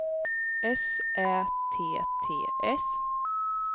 S Ä T T S